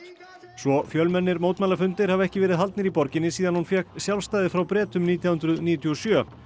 svo fjölmennir mótmælafundir hafa ekki verið haldnir í borginni síðan hún fékk sjálfstæði frá Bretum nítján hundruð níutíu og sjö